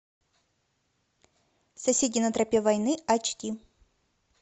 соседи на тропе войны ач ди